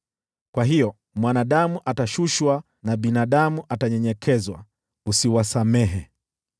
Kwa hiyo mwanadamu atashushwa na binadamu atanyenyekezwa: usiwasamehe.